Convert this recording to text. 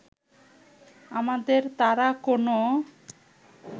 আমাদের তারা কোন